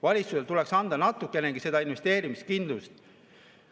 Valitsusel tuleks anda natukenegi investeerimiskindlust.